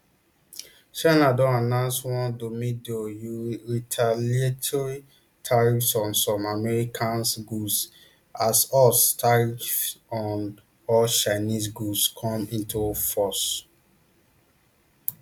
china don announce one domeido you retaliatory tariffs on some american goods as us tariffs on all chinese goods come into force